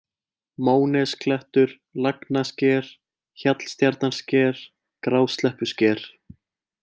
Mónesklettur, Lagnasker, Hjallstjarnarsker, Grásleppusker